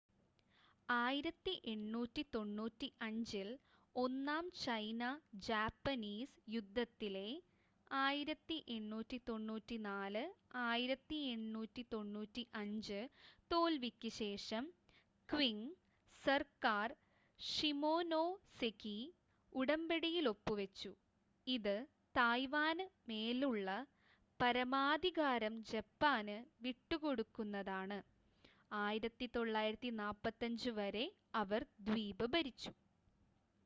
1895-ൽ ഒന്നാം ചൈന-ജാപ്പനീസ് യുദ്ധത്തിലെ 1894-1895 തോൽവിക്ക് ശേഷം ക്വിംഗ് സർക്കാർ ഷിമോനോസെകി ഉടമ്പടിയിൽ ഒപ്പുവെച്ചു. ഇത് തായ്‌വാനു മേലുള്ള പരമാധികാരം ജപ്പാന് വിട്ടുകൊടുക്കുന്നതാണ്. 1945 വരെ അവർ ദ്വീപ് ഭരിച്ചു